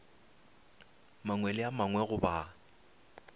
mangwe le a mangwe goba